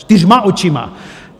Čtyřma očima.